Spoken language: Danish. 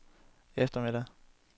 eftermiddag